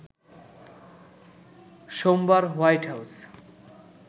সোমবার White house